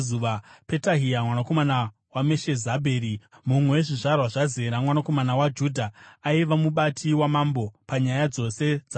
Petahia mwanakomana waMeshezabheri, mumwe wezvizvarwa zvaZera mwanakomana waJudha, aiva mubati waMambo panyaya dzose dzavanhu.